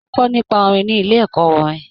Mọ kọ nipa orin ni ilé ẹkọ orin